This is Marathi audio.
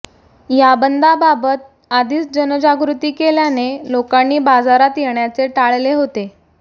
या बंदबाबत आधीच जनजागृती केल्याने लोकांनी बाजारात येण्याचे टाळले होते